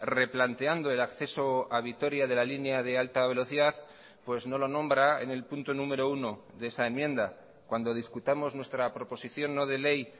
replanteando el acceso a vitoria de la línea de alta velocidad pues no lo nombra en el punto número uno de esa enmienda cuando discutamos nuestra proposición no de ley